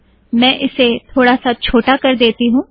मैं इसे थोडा सा छोटा कर देती हूँ